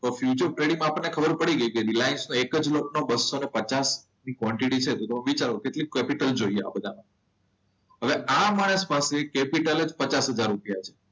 તો future trading માં આપણને ખબર છે કે રિલાયન્સ નો એક જ લોટ બસો પચાસની ક્વોન્ટિટી છે. તો વિચારો કે કેટલી કેપિટલ જોઈએ આ બધામાં? હવે આ માણસ પાસે કેપિટલ જ પચાસ હજાર રૂપિયા છે.